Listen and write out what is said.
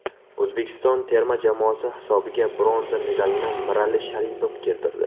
O‘zbekiston terma jamoasi hisobiga bronza medalini Mirali Sharipov keltirdi.